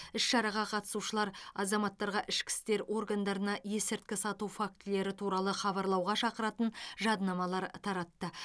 іс шараға қатысушылар азаматтарға ішкі істер органдарына есірткі сату фактілері туралы хабарлауға шақыратын жадынамалар таратты